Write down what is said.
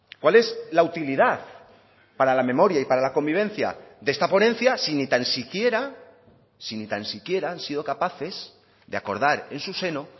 cuál es la utilidad para la memoria y para la convivencia de esta ponencia si ni tan siquiera si ni tan siquiera han sido capaces de acordar en su seno